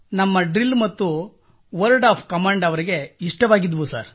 ನಮ್ಮ ಡ್ರಿಲ್ ಮತ್ತು word of command ಅವರಿಗೆ ಇಷ್ಟವಾಗಿದ್ದವು ಸರ್